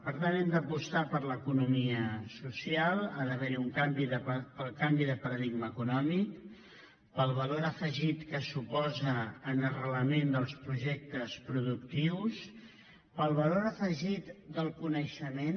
per tant hem d’apostar per l’economia social pel canvi de paradigma econòmic pel valor afegit que suposa en arrelament dels projectes productius pel valor afegit del coneixement